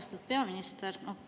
Austatud peaminister!